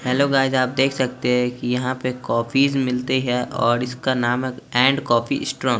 hello guys आप देख सकते है की यहाँ पे कॉफीस मिलती है और इसका नाम है एंड कॉफी स्ट्रॉन्ग --